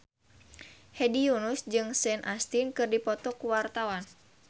Hedi Yunus jeung Sean Astin keur dipoto ku wartawan